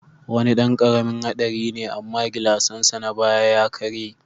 Wani dan karamin hadari ne amma gilasnsa na baya ya karye.